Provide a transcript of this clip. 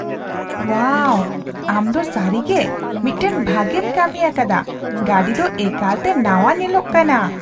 ᱳᱣᱟᱣ! ᱟᱢ ᱫᱚ ᱥᱟᱹᱨᱤᱜᱮ ᱢᱤᱫᱴᱟᱝ ᱵᱷᱟᱜᱮᱢ ᱠᱟᱹᱢᱤᱭᱟᱠᱟᱫᱟ ᱾ ᱜᱟᱹᱰᱤ ᱫᱚ ᱮᱠᱟᱞᱛᱮ ᱱᱟᱣᱟ ᱧᱮᱞᱚᱜ ᱠᱟᱱᱟ !